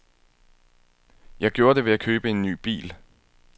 Jeg gjorde det ved at købe en ny bil.